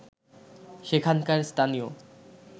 সেখানকার স্থানীয়